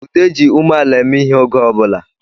Ude ji umeala eme ihe oge ọbụla